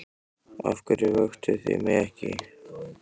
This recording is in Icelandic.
Af hverju vöktuð þið mig ekki?